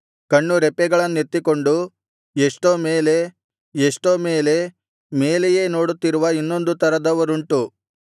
ಕಣ್ಣುರೆಪ್ಪೆಗಳನ್ನೆತ್ತಿಕೊಂಡು ಎಷ್ಟೋ ಮೇಲೆ ಎಷ್ಟೋ ಮೇಲೆ ಮೇಲೆಯೇ ನೋಡುತ್ತಿರುವ ಇನ್ನೊಂದು ತರದವರು ಉಂಟು